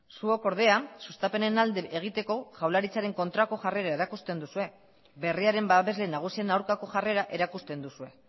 zuok ordea sustapenen alde egiteko jaurlaritzaren kontrako jarrera erakusten duzue berriaren babesle nagusien aurkako jarrera erakusten duzue